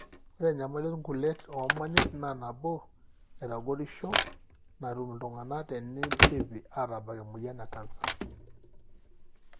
ore enyamali olngulet omonyit na nabo naitagorisho natum iltungana tenidipi atabak emoyian ekancer.